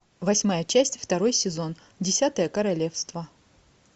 восьмая часть второй сезон десятое королевство